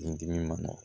Ni dimi ma nɔgɔn